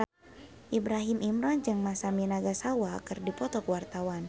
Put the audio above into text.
Ibrahim Imran jeung Masami Nagasawa keur dipoto ku wartawan